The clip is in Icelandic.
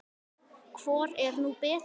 Hvor er nú betri?